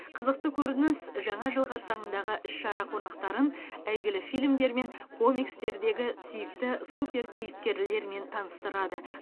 қызықты көрініс жаңа жыл қарсаңындағы іс шара қонақтарын әйгілі фильмдер мен комикстердегі сүйікті суперкейіпкерлермен таныстырады